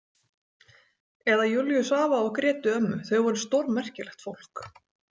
Eða Júlíus afa og Grétu ömmu, þau voru stórmerkilegt fólk.